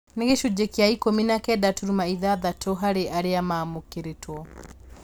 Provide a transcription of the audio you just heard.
Nĩ gĩcunjĩ kĩa ikũmi na kenda turuma ithathatũ harĩ arĩa maamũkĩrĩtũo